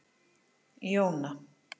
Jóna